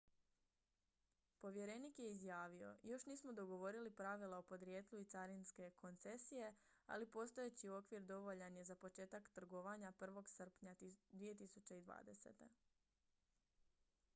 "povjerenik je izjavio: "još nismo dogovorili pravila o podrijetlu i carinske koncesije ali postojeći okvir dovoljan je za početak trgovanja 1. srpnja 2020.""